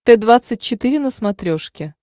т двадцать четыре на смотрешке